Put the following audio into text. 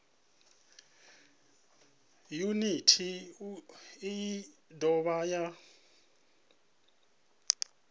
yuniti iyi i dovha ya